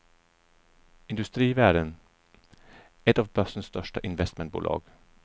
Industrivärden, ett av börsens största investmentbolag.